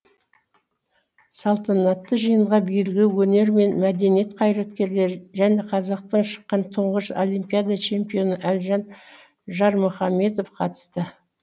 салтанатты жиынға белгілі өнер мен мәдениет қайраткерлері және қазақтан шыққан тұңғыш олимпиада чемпионы әлжан жармұхамедов қатысты